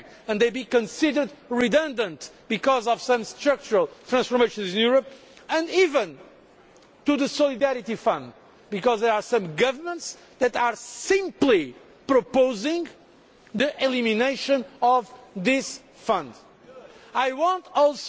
who may feel the impact and be considered redundant because of some structural transformations in Europe, and even the Solidarity Fund, because there are some governments that are simply proposing the elimination of this fund.